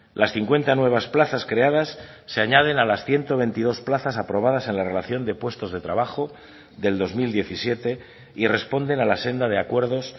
las cincuenta nuevas plazas creadas se añaden a las ciento veintidós plazas aprobadas en la relación de puestos de trabajo del dos mil diecisiete y responden a la senda de acuerdos